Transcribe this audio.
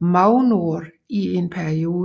Magnord i en periode